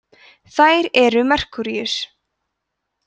þær eru merkúríus